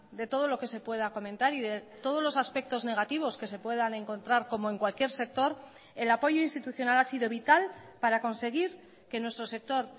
de todo lo que se pueda comentar y de todos los aspectos negativos que se puedan encontrar como en cualquier sector el apoyo institucional ha sido vital para conseguir que nuestro sector